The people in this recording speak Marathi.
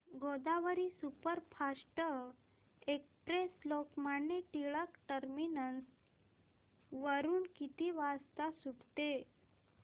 Godavari superfast express Lokmanya Tilak terminus वरून किती वाजता सुटते